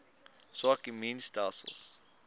swak immuun stelsels